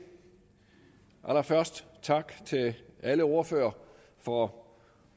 allerførst tak til alle ordførere for